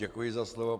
Děkuji za slovo.